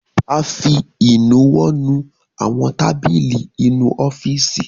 A fi ìnuwọ́ nu àwọn tábìlì inú ọ́fìsì.